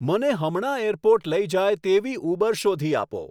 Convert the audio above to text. મને હમણાં એરપોર્ટ લઇ જાય તેવી ઉબર શોધી આપો